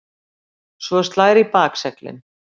Svo slær í bakseglin.